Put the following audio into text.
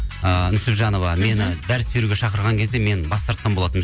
ыыы нүсіпжанова мені дәріс беруге шақырған кезде мен бас тартқан болатынмын